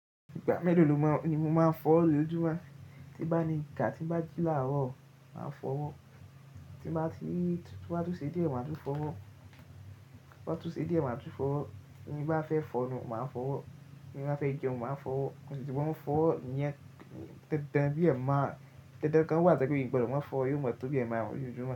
Ìgbà mélòó ni mo máa ń fọwọ́ mi l'ójúmọ́, tí n bá ní n kàá, tí n bá jí láàárọ̀ màá fọwọ́, tó bá tún ṣe díẹ̀ màá tún fọwọ́, tó bá tún ṣe díẹ̀ màá tún fọwọ́. Bí n bá fẹ́ fọnu, màá fọwọ́, bí n bá fẹ́ jẹun màá fọwọ́, mo sì tún máa ń fọwọ́, ìyẹn dandan bí ẹ̀ẹ̀márùn-ún. Dandan kan wà tó jẹ́ pé mi ò gbọdọ̀ má fọwọ́, yóò máa tó bí ẹ̀ẹ̀márùn-ún lójoojúmọ́.